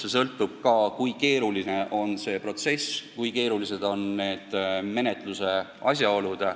See sõltub sellest, kui keeruline on protsess, kui keerulised on menetluse asjaolud.